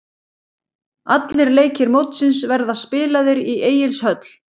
Allir leikir mótsins verða spilaðir í Egilshöll.